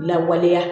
Lawaleya